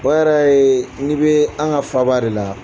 O Yɛrɛ ye n'i bɛ an ka faaba de la.